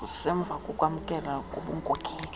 kusemva kokwamkelwa kobunkokheli